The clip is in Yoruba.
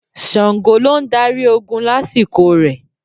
Ṣàngó ló ń darí ogun lásìkò rẹ̀.